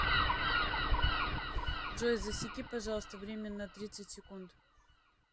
джой засеки пожалуйста время на тридцать секунд